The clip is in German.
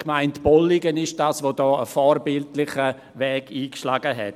Die Gemeinde Bolligen ist es, die hier einen vorbildlichen Weg eingeschlagen hat.